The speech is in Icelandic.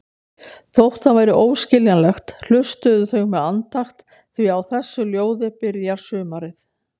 Þótt það væri óskiljanlegt, hlustuðu þau með andakt því á þessu ljóði byrjar sumarið.